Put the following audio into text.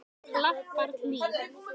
Klapparhlíð